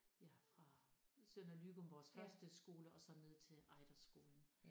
Ja fra Sønder Løgum vores første skole og så ned til Ejderskolen